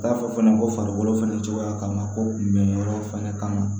T'a fɔ fɛnɛ ko farikolo fɛnɛ cogoya kama ko kun bɛ yɔrɔ fɛnɛ kama